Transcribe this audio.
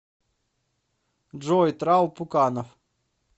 джой трал пуканов